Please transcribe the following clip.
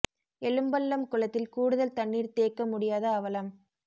எழும்பள்ளம் குளத்தில் கூடுதல் தண்ணீர் தேக்க முடியாத அவலம்